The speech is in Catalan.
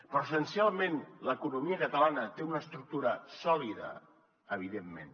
però essencialment l’economia catalana té una estructura sòlida evidentment